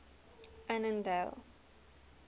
annandale